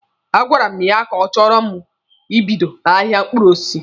A gwara mụ ya na achọrọ m ibido ahịa mkpụrụ osisi.